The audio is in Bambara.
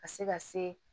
Ka se ka se